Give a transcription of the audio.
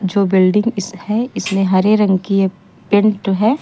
जो बिल्डिंग इस है इसमें हरे रंग की ये पेंट है।